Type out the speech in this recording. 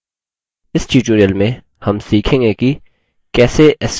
इस tutorial में हम सीखेंगे कि